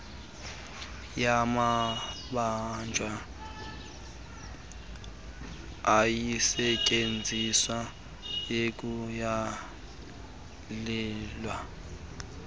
yamabanjwa ayisetyenziswa ukuyalela